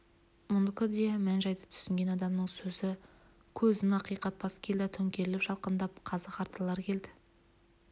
мұныкі де мән-жайды түсінген адамның сөзі көзін ақитып бас келді төңкеріліп жалқындап қазы-қарталар келді